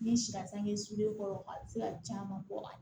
N'i si la sange sulen kɔrɔ a bɛ se ka caman bɔ a